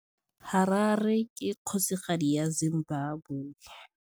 Harare ke kgosigadi ya Zimbabwe.